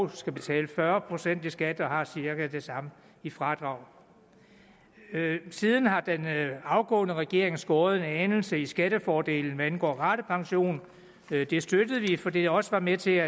skal betale fyrre procent i skat og har cirka det samme i fradrag siden har den afgåede regering skåret en anelse i skattefordelen hvad angår ratepension det støttede vi fordi det også var med til